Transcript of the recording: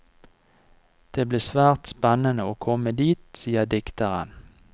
Det blir svært spennende å komme dit, sier dikteren.